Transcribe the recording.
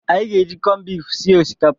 Anyị ga-eji kọnbifu sie osikapa a.